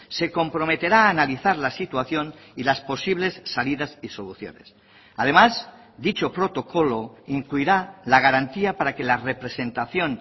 se comprometerá a analizar la situación y las posibles salidas y soluciones además dicho protocolo incluirá la garantía para que la representación